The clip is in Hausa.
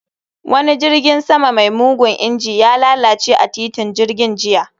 Wani jirgin sama mai mugun injin, ya lalace a titin jirgin jiya